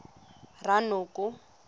ranoko